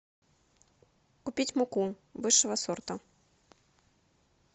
купить муку высшего сорта